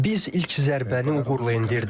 Biz ilk zərbəni uğurla endirdik.